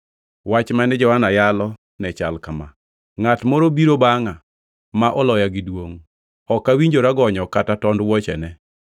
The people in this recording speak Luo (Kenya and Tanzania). Wach mane Johana yalo ne chal kama: “Ngʼat moro biro bangʼa ma oloya gi duongʼ, ok awinjora gonyo kata tond wuochene.